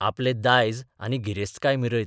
आपलें दायज आनी गिरेस्तकाय मिरयत.